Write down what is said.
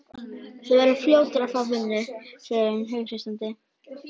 Þú verður fljótur að fá vinnu, segir hún hughreystandi.